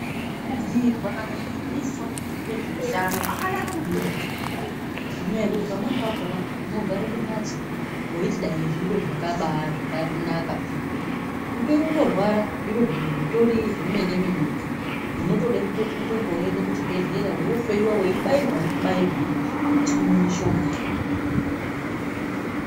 Kubhuirwa kana kufundiswa ngezveutano kwakanaka maningi peyani ngenyaya yekuti pamweni pakona hayi unotogara kumhatso weiti dai zviro zvakanaka peyani kubeni uri kutorwara zvitoro zvemene mene zvinode kutoti utoende kuzvibhedhlera undohloyiwa nekubairwa nekubairwa mutsinga mushonga.